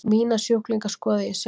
Mína sjúklinga skoða ég sjálfur.